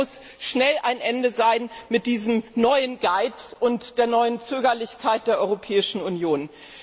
Es muss schnell ein Ende haben mit diesem neuen Geiz und der neuen Zögerlichkeit der Europäischen Union!